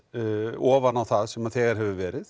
ofan á það sem þegar hefur verið